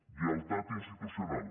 lleialtat institucional